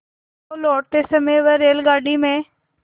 तो लौटते समय वह रेलगाडी में